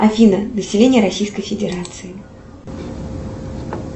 афина население российской федерации